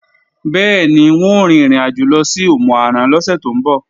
Bẹ́ẹ̀ni, wọn ó rin ìrìnàjò lọ sí Òmù-àrán lọ́sẹ̀ tó ń bọ̀